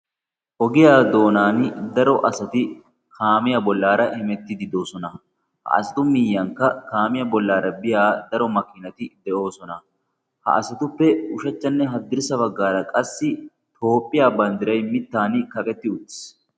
Ogiyaa doonan daro asati kaamiya bollaara hemettidi doosona ha asatu miyyankka kaamiyaa bollaara biya daro makinati de'oosona. ha asatuppe ushachchanne haddirssa baggaara qassi toophphiya banddirai mittan kaqetti uttis.